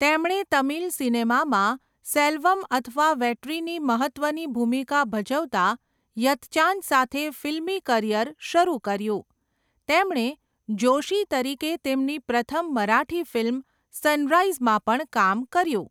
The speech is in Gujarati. તેમણે તમિલ સિનેમામાં સેલ્વમ અથવા વેટ્રીની મહત્ત્વની ભૂમિકા ભજવતા 'યત્ચાન' સાથે ફિલ્મી કરિયર શરૂ કર્યું, તેમણે જોશી તરીકે તેમની પ્રથમ મરાઠી ફિલ્મ સનરાઈઝમાં પણ કામ કર્યું.